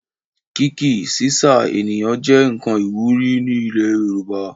Kíí-ki/sísà ènìyàn jẹ nkan iwuri ni ilẹ̀ Yorùbá.